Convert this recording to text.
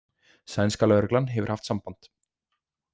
Sænska lögreglan hefur haft samband.